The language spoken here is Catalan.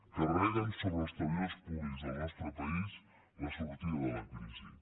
carreguen sobre els treballadors públics del nostre país la sortida de la crisi